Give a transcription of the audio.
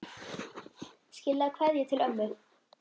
Skilaðu kveðju til ömmu.